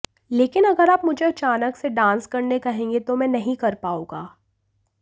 लेकिन अगर आप मुझे अचानक से डांस करने कहेंगे तो मैं नहीं कर पाऊंगा